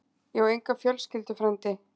Ég á enga fjölskyldu, frændi.